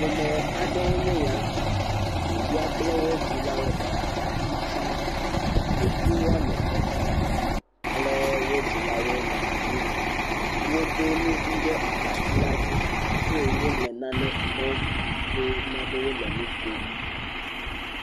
Ƒome aɖee nye ya. Ɖevia kple wo dzilawo le abatsi dzi. Ɖevi woame etɔ̃ kple wo dzilawoe nɔ woɖo nu ʋi ɖe abatsi la dzi eye wole nane kpɔm yi ke na be wole nu kom.